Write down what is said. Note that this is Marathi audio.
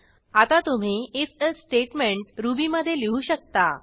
आता तुम्ही if एल्से स्टेटमेंट रुबीमधे लिहू शकता